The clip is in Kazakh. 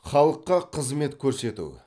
халыққа қызмет көрсету